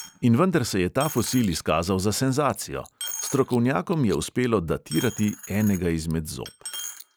In vendar se je ta fosil izkazal za senzacijo: strokovnjakom je uspelo datirati enega izmed zob.